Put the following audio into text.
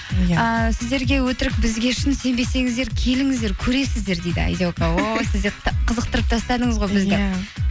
ыыы сіздерге өтірік бізге шын сенбесеңіздер келіңіздер көресіздер дейді айзека ой қызықтырып тастадыңыз ғой бізді